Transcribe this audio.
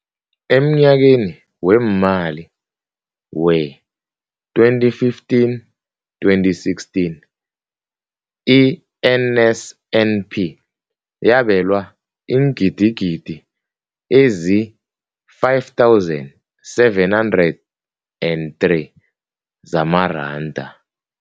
Emnyakeni weemali we-2015, 2016, i-NSNP yabelwa iingidigidi ezi-5 703 zamaranda.